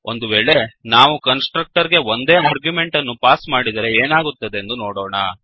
ಒಂದು ವೇಳೆ ನಾವು ಕನ್ಸ್ ಟ್ರಕ್ಟರ್ ಗೆ ಒಂದೇ ಆರ್ಗ್ಯುಮೆಂಟ್ ಅನ್ನು ಪಾಸ್ ಮಾಡಿದರೆ ಏನಾಗುತ್ತದೆಂದು ನೋಡೋಣ